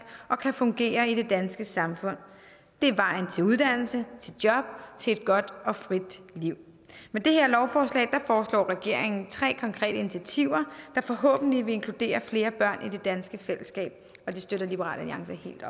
og kan fungere i det danske samfund det er vejen til uddannelse til job til et godt og frit liv med det her lovforslag foreslår regeringen tre konkrete initiativer der forhåbentlig vil inkludere flere børn i det danske fællesskab og det støtter liberal alliance helt